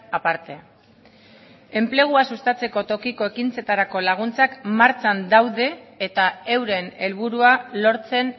aparte enplegua sustatzeko tokiko ekintzetarako laguntzak martxan daude eta euren helburua lortzen